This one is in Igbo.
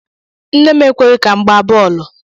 Nne m ekweghị ka m gbaa bọọlụ.